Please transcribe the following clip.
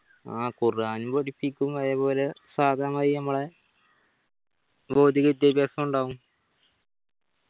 ആ ഖുർആൻ പഠിപ്പിക്കും അതെ പോലെ സാധാ മായിരി ഞമ്മളെ ഭോധിക വിദ്യാഭ്യാസും ഉണ്ടാവും